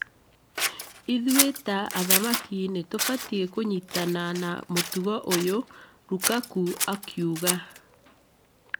Ithuĩ ta athaki nĩtũbatiĩ kũnyitana na gmũtugo ũyũ’’ Lukaku akiuga